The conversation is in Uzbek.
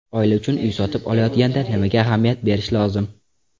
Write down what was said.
Oila uchun uy sotib olayotganda nimaga ahamiyat berish lozim?